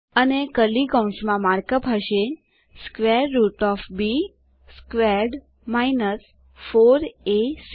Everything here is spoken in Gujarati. અને કર્લી કૌંસમાં માર્કઅપ હશે square root of B squared 4એસી